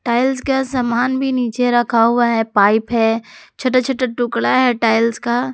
tiles का सामान भी नीचे रखा हुआ है पाइप है छोटा छोटा टुकड़ा है टाइल्स का--